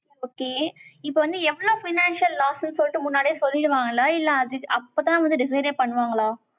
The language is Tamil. okay. இப்ப வந்து, எவ்வளவு financial loss ன்னு சொல்லிட்டு, முன்னாடியே சொல்லிடுவாங்களா? இல்ல, அதுத், அப்பதான் வந்து, decide ஏ பண்ணுவாங்களா?